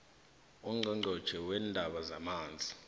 ungqongqotjhe weendaba zamanzi